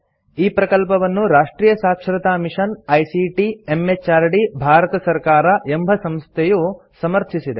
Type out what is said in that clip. ಈ ಪ್ರಕಲ್ಪವನ್ನು ರಾಷ್ಟ್ರಿಯ ಸಾಕ್ಷರತಾ ಮಿಷನ್ ಐಸಿಟಿ ಎಂಎಚಆರ್ಡಿ ಭಾರತ ಸರ್ಕಾರ ಎಂಬ ಸಂಸ್ಥೆಯು ಸಮರ್ಥಿಸಿದೆ